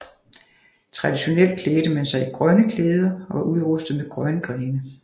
Traditionelt klædte man sig i grønne klæder og var udrustet med grønne grene